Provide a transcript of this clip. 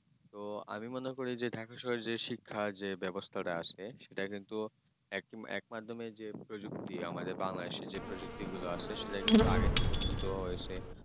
তো আমি মনে করি যে Dhaka শহরে যে শিক্ষা যে ব্যবস্থাটা আছে সেটা কিন্তু তোমায় মাধ্যমে যে আমাদের Bangladesh যে প্রযুক্তি আছে সেটা কিন্তু আগে আগে থেকে উন্নত হয়েছে